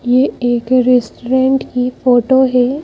ये एक रेस्टोरेंट की फोटो है।